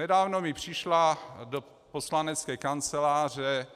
Nedávno mi přišla do poslanecké kanceláře